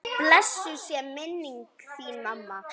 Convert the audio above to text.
Blessuð sé minning þín mamma.